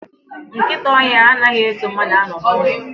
Nkịta ọhịa anaghị eso mmadụ anọ n'ụlọ